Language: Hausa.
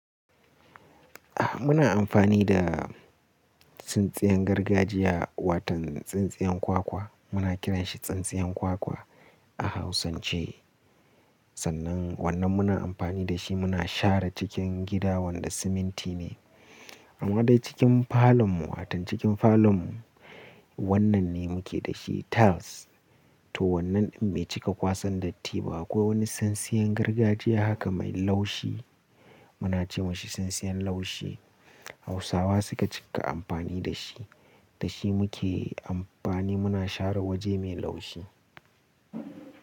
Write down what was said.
A muna amfani da tsintsiyan gargajiya watan tsintsiyan kwakwa. Muna kiranshi tsintsiyan kwakwa a hausance. Sannan wannan muna amfani da shi muna share cikin gida wanda siminti ne. Amma dai cikin falon mu watan cikin falon mu wannan ne muke da shi tiles. To wannan in bai cika kwasan datti ba akwai wani tsintsiyan gargajiya haka mai laushi. Muna ce mashi tsintsiyan laushi. Hausawa suka cika amfani da shi. Da shi muke amfani muna share waje mai laushi.